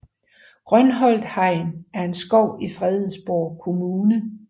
Grønholt Hegn er en skov i Fredensborg Kommune